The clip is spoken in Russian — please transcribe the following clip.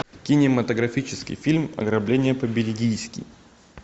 кинематографический фильм ограбление по бельгийски